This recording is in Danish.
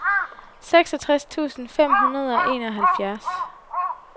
seksogtres tusind fem hundrede og enoghalvfjerds